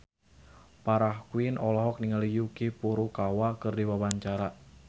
Farah Quinn olohok ningali Yuki Furukawa keur diwawancara